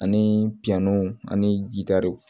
Ani biyanw ani ji gariw